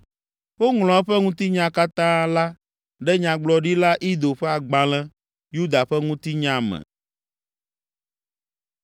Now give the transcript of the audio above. Woŋlɔ eƒe ŋutinya katã la ɖe Nyagblɔɖila Ido ƒe agbalẽ, Yuda ƒe Ŋutinya me.